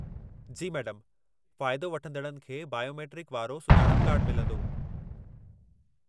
जी madam! फ़ाइदो वठंदड़नि खे बायोमेट्रिक वारो सुञाणप कार्डु मिलंदो।